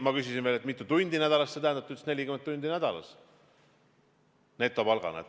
Ma küsisin veel, et mitu tundi nädalas see tähendab, ta ütles, et 40 tundi nädalas ja netopalk.